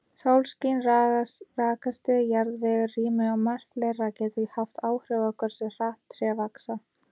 Sólskin, rakastig, jarðvegur, rými og margt fleira getur haft áhrif á hversu hratt tré vaxa.